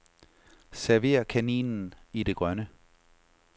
Server kaninen i det grønne.